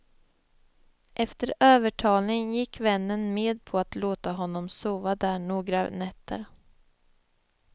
Efter övertalning gick vännen med på att låta honom sova där några nätter.